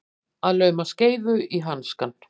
Að lauma skeifu í hanskann